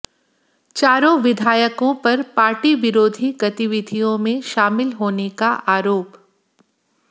चारों विधायकों पर पार्टी विरोधी गतिविधियों में शामिल होने का आरोप